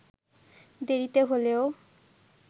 দেরিতে হলেও